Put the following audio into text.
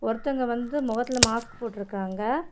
ஒரு தங்க வந்து முகத்துலெ மாஸ்க் போட்டிருக்காங்க.